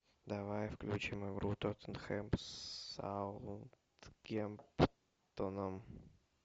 давай включим игру тоттенхэм с саутгемптоном